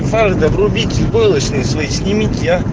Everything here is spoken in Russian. правда врубите войлочный свой снимите а